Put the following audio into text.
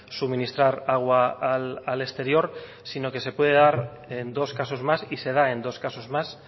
suministrar agua al exterior sino que se puede dar en dos casos más y se da en dos casos más